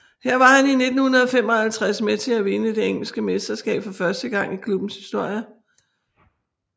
Her var han i 1955 med til at vinde det engelske mesterskab for første gang i klubbens historie